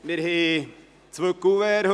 Wir haben heute zwei Kuverts.